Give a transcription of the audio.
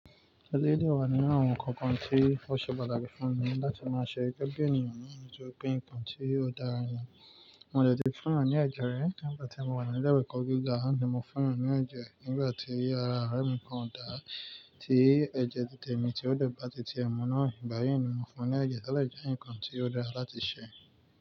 Eléyìí dẹ̀ wà nínú àwọn ǹkan kan tí ó ṣe pàtàkì láti fún mi láti máa ṣe gẹ́gẹ́ ènìyàn náà, nítorí pé nǹkan tí ó dára ni. Mo dẹ̀ ti fún èèyàn ní ẹ̀jẹ̀ rí, nígbà tí mo wà ní ilé ìwé ẹ̀kọ́ gíga náà ní mo fún èèyàn ní ẹ̀jẹ̀ nígbà tí ara ọ̀rẹ́ mi kan ò dà, tí ẹ̀jẹ̀ titè mi tí ó dẹ̀ bá ti tì ẹ́ mú ná, ìgbà yìn ni mo fún un ní ẹ̀jẹ̀ tó dẹ̀ jẹ́ ǹkàn tí ó dára láti ṣe.